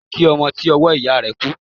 Ẹ jẹ́ kí ọmọ ti ọwọ́ ìyá rẹ̀ kú.